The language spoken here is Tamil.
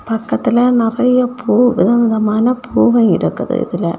பக்கத்துல நெறைய பூ விதவிதமான பூவே இருக்குது இதுல.